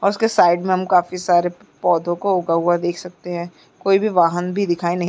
और उसके साइड में हम काफी सारे प-पौधों को उगा हुआ देख सकते हैं कोई भी वाहन भी दिखाई नहीं --